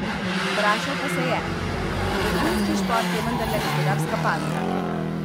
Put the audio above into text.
Vprašal pa se je: "Vrhunski šport je vendarle gospodarska panoga.